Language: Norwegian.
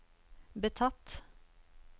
betatt